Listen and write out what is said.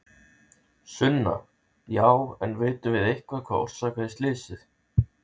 Sunna: Já en vitum við eitthvað hvað orsakaði slysið?